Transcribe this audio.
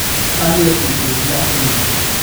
Anglerfish way fiican yihiin.